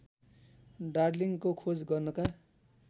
डार्लिंङको खोज गर्नका